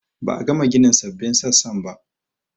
Ba a gama ginin sabbin sassan ba